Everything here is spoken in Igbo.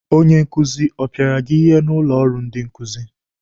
Onye nkuzi ọ pịara gị ihe n'ụlọ ọrụ ndị nkuzi?